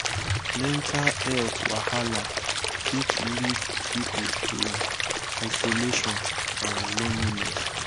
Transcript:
mental health wahala fit lead pipo to isolation and loneliness